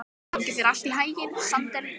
Gangi þér allt í haginn, Sandel.